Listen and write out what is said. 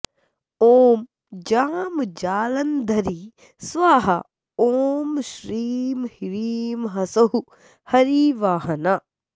ॐ जां जालन्धरी स्वाहा ॐ श्रीं ह्रीं ह्सौः हरिवाहना